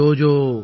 ஜோஜோ